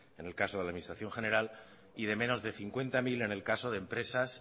en el caso de la administración general y de menos de cincuenta mil en el caso de empresas